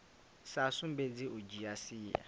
sa sumbedzi u dzhia sia